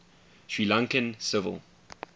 sri lankan civil